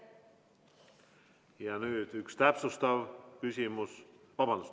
Ja nüüd üks lisaküsimus.